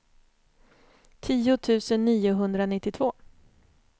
tio tusen niohundranittiotvå